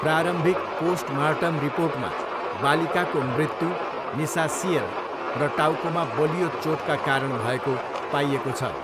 प्रारम्भिक पोस्टमार्टम रिपोर्टमा बालिकाको मृत्यु निसास्सिएर र टाउकोमा बलियो चोटका कारण भएको पाइएको छ।